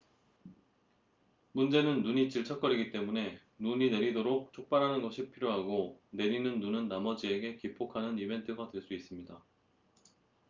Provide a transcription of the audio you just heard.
문제는 눈이 질척거리기 때문에 눈이 내리도록 촉발하는 것이 필요하고 내리는 눈은 나머지에게 기폭하는 이벤트가 될 수 있습니다